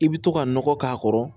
I bi to ka nɔgɔ k'a kɔrɔ